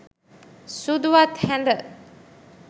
සුදුවත් හැඳ